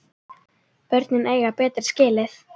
Börnin eiga betra skilið.